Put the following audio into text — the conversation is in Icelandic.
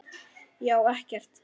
Ég á ekkert.